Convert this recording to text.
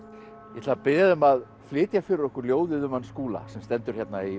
ég ætla að biðja þig um að flytja fyrir okkur ljóðið um hann Skúla sem stendur hérna í